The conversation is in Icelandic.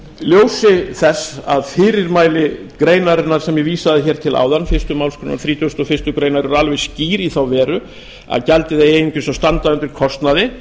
ljósi þess að fyrirmæli greinarinnar sem ég verði hér til áðan fyrstu málsgrein þrítugustu og fyrstu grein eru alveg skýr í þá veru að gjaldið eigi einungis að standa undir kostnaði